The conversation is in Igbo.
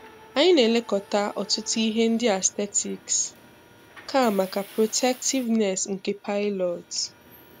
Anyị na-elekọta ọ̀tụ̀tụ̀ ihe ndị aesthetics, kàmákà protectiveness nke pilot.